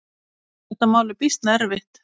Þetta mál er býsna erfitt.